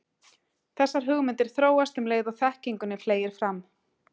Þessar hugmyndir þróast um leið og þekkingunni fleygir fram.